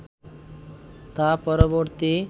তা পরবর্তী